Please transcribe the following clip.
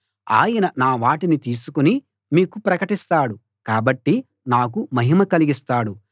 ఆయన నా వాటిని తీసుకుని మీకు ప్రకటిస్తాడు కాబట్టి నాకు మహిమ కలిగిస్తాడు